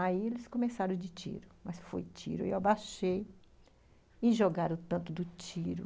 Aí eles começaram de tiro, mas foi tiro, e eu abaixei e jogaram tanto do tiro.